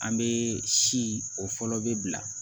An be si o fɔlɔ be bila